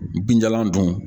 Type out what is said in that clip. Binjalan dun